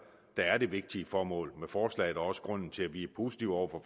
er det vigtige formål med forslaget og også grunden til at vi er positive over for